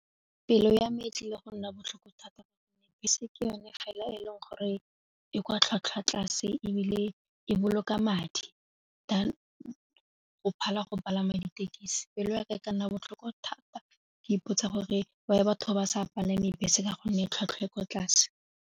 Pelo ya me e tlile go nna botlhoko thata gonne bese ke yone ga e leng gore e kwa tlhwatlhwa tlase ebile e boloka madi di go phala go palama ditekisi pelo yaka e ka nna botlhoko thata ke ipotsa gore why batho ba sa palame bese ka gonne tlhwatlhwa e kwa tlase.